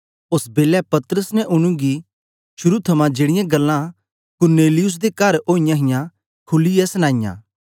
ओस बेलै पतरस ने उनेंगी शुरू थमां जेड़ीयां गल्लां कुरनेलियुस दे कर ओईयां हां खुलीयै सनाईयां